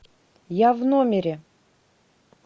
я в номере